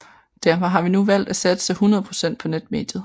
Derfor har vi nu valgt at satse 100 procent på netmediet